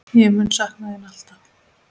Ég mun sakna þín alltaf.